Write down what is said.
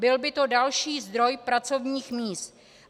Byl by to další zdroj pracovních míst.